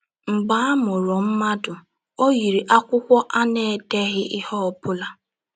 Mgbe a mụrụ mmadụ, ọ yiri akwụkwọ a na - edeghị ihe ọ bụla.